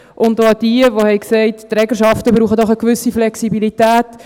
An jene, die gesagt haben, die Trägerschaften brauchten eine gewisse Flexibilität: